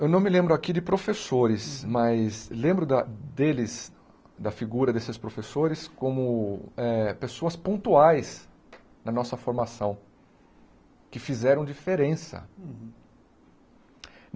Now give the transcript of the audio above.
Eu não me lembro aqui de professores, mas lembroda deles, da figura desses professores, como eh pessoas pontuais na nossa formação, que fizeram diferença.